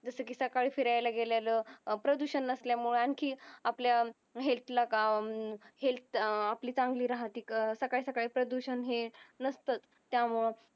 सकाळी फिरायला गेलेलं अह प्रदूषण नसल्यामुळे आणखी आपल्या health ला अह health आपली चांगली राहते सकासकाळी प्रदूषण हे नसतच त्यामुळं